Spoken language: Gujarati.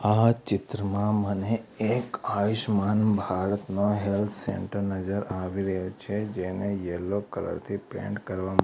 આ ચિત્રમાં મને એક આયુષ્માન ભારતનો હેલ્થ સેન્ટર નજર આવી રહ્યો છે જેને યેલો કલર થી પેઇન્ટ કરવા--